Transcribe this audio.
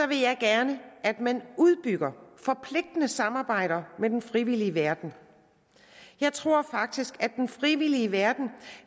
vil jeg gerne at man udbygger forpligtende samarbejder med den frivillige verden jeg tror faktisk at den frivillige verden